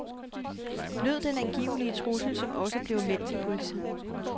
Lød den angivelige trussel, som også bliver meldt til politiet.